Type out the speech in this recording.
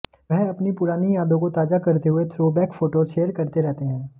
वह अपनी पुरानी यादों को ताजा करते हुए थ्रोबैक फोटोज शेयर करते रहते हैं